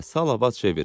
biraz səbr elə,